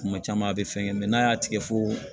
Kuma caman a bɛ fɛn kɛ n'a y'a tigɛ fo